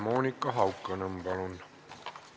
Monika Haukanõmm, palun!